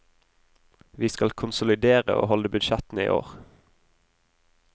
Vi skal konsolidere og holde budsjettene i år.